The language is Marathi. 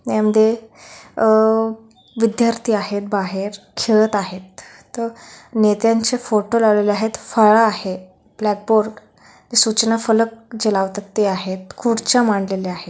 यामध्ये आ विद्यार्थी आहेत. बाहेर खेळत आहेत. नेत्यांचे फोटो लावलेले आहेत. फळा आहे. ब्लॅकबोर्ड सूचना फलक जे लावतात ते आहे. खुर्च्या मांडलेल्या आहेत.